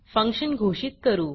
function घोषित करू